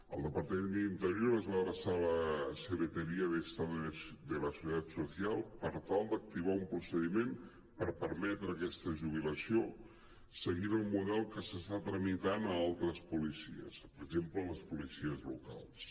el de·partament d’interior es va adreçar a la secretaría de estado de la seguridad social per tal d’activar un procediment per permetre aquesta jubilació seguint el model que s’està tramitant a altres policies per exemple les policies locals